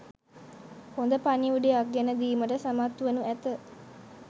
හොඳ පණිවුඩයක් ගෙනදීමට සමත්වනු ඇත.